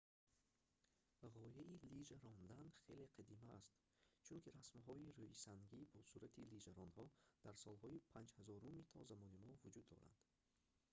ғояи лижа рондан хеле қадима аст чунки расмҳои рӯисангӣ бо сурати лижаронҳо дар солҳои 5000-уми то замони мо вуҷуд доранд